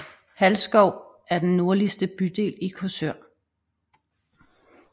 Halsskov er den nordligste bydel i Korsør